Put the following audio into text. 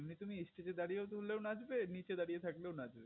এমনিতেও তুমি stage দাঁড়িয়ে তুললেও নাচবে নিচে দাঁড়িয়ে থাকলেও নাচবে